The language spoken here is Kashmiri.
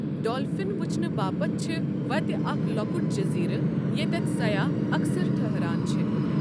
ڈولفن وٕچھنہٕ باپتھ چھِ وَتہِ اکھ لۄکٹ جزیرٕ، ییٚتٮ۪تھ سیاح اکثر ٹھٕہران چھ۔